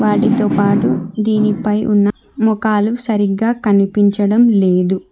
వాటితోపాటు దీనిపై ఉన్న మొఖాలు సరిగ్గా కనిపించడం లేదు.